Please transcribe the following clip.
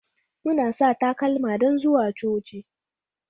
Muna sa takalma don zuwa coci